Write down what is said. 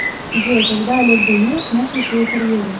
джой когда олег ганеев начал свою карьеру